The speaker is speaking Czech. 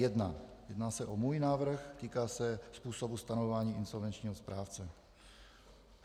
Jedná se o můj návrh, týká se způsobu stanovování insolvenčního správce.